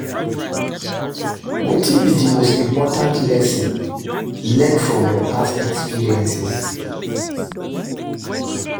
Wetin be di most important lesson you learn from your past experiences?